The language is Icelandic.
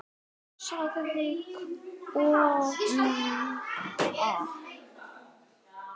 sagði kona hans.